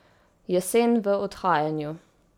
Jesen v odhajanju.